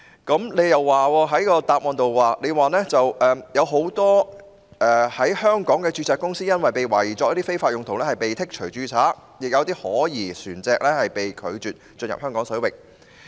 局長在主體答覆中指出，很多香港註冊公司因被懷疑用作非法用途而被剔除註冊，亦有可疑船隻被拒進入香港水域。